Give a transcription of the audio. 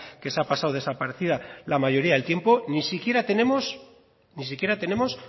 que ha pasado desaparecida la mayoría del tiempo ni siquiera tenemos